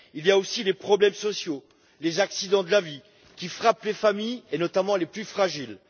Ce sont aussi les problèmes sociaux, les accidents de la vie qui frappent les familles, et notamment les plus fragiles.